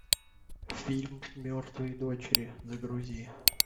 фильм мертвые дочери загрузи